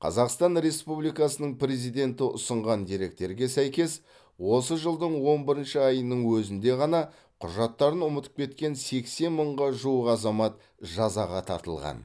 қазақсатн республикасының президенті ұсынған деректерге сәйкес осы жылдың он бір айының өзінде ғана құжаттарын ұмытып кеткен сексен мыңға жуық азамат жазаға тартылған